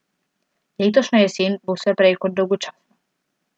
Letošnja jesen bo vse prej kot dolgočasna.